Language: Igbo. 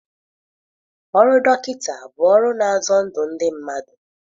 Ọrụ dọkịta bụ ọrụ na-azọ ndụ ndị mmadụ.